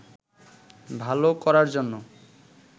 ভাল করার জন্য